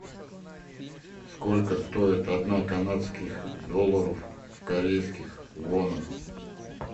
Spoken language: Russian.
сколько стоит одна канадских долларов в корейских вонах